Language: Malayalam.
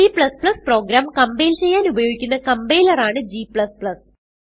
C പ്രോഗ്രാം കംപൈൽ ചെയ്യാൻ ഉപയോഗിക്കുന്ന കംപൈലർ ആണ് g